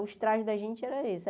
Os trajes da gente eram esses.